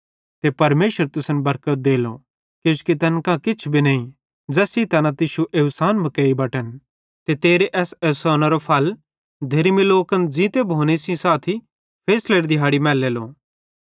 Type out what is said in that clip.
ते परमेशर तुसन बरकत देलो किजोकि तैन कां किछ भी नईं ज़ैस सेइं तैना तुश्शू एवसान मुकेइ बटन ते तेरे एस एवसानेरो फल धेर्मी लोकन ज़ींते भोने सेइं साथी फैसलेरी दिहैड़ी मैलेलो